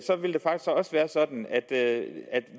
været sådan at